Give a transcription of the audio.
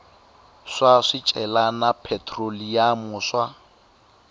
swa swicelwa na phetroliyamu swa